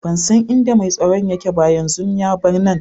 Ban san inda mai tsaron yake ba, yanzun ya bar nan.